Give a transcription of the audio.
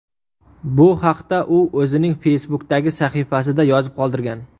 Bu haqda u o‘zining Facebook’dagi sahifasida yozib qoldirgan .